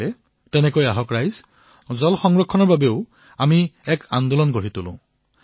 আহক ঠিক তেনেদৰে জল সংৰক্ষণৰ বাবে এক জন আন্দোলনৰ আৰম্ভণি কৰা হওক